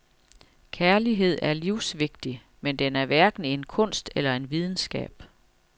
Kærlighed er livsvigtig, men den er hverken en kunst eller en videnskab.